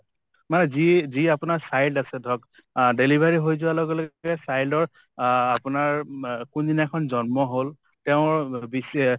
মানে যি যি আপোনাৰ child আছে ধৰক , delivery হৈ যোৱাৰ লগে লগে child ৰ অ আপোনাৰ ম কোনদিনাখন জন্ম হল তেওঁৰ বিষয়ে